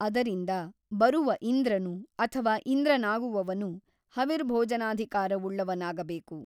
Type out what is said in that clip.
ಅದರಿಂದ ಬರುವ ಇಂದ್ರನು ಅಥವಾ ಇಂದ್ರನಾಗುವವನು ಹವಿರ್ಭೋಜನಾಧಿಕಾರವುಳ್ಳವನಾಗಬೇಕು.